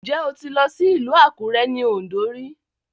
Ǹjẹ́ o ti lọ sí ìlú Àkúré ní Ọ̀ǹdó rí?